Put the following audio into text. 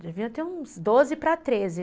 Devia ter uns doze para treze já.